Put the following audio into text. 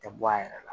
Tɛ bɔ a yɛrɛ la